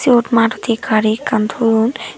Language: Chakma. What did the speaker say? siyot maruti gari ekkan toyon.